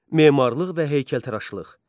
Memarlıq və heykəltaraşlıq.